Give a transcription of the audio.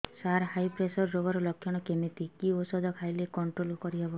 ସାର high pressure ରୋଗର ଲଖଣ କେମିତି କି ଓଷଧ ଖାଇଲେ କଂଟ୍ରୋଲ କରିହେବ